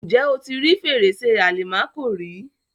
Ǹjẹ́ o ti rí Fèrèsé àlìmákò rí?